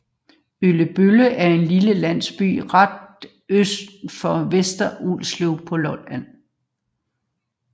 Øllebølle er en lille landsby ret øst for Vester Ulslev på Lolland